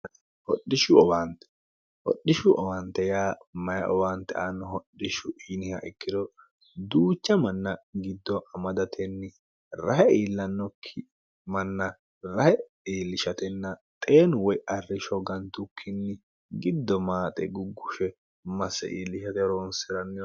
whodhishshu owaante ya mayi owaante aanno hodhishshu iniha ikkiro duucha manna giddo amadatenni rahe iillannokki manna rahe iillishatenna xeenu woy arrisho gantukkinni giddo maaxe guggushe masse iillishate roonsi'ranniho